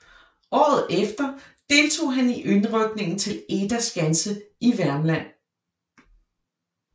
Året efter deltog han i indrykningen til Eda Skanse i Værmland